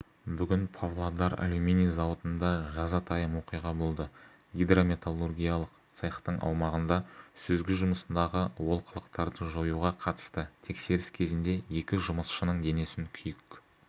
бүгін павлодар алюминий зауытында жазатайым оқиға болды гидрометталургиялық цехтың аумағында сүзгі жұмысындағы олқылықтарды жоюға қатысты тексеріс кезінде екі жұмысшының денесін күйік